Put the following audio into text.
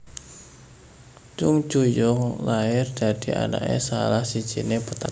Chung Ju Yung lair dadi anaké salah sijiné petani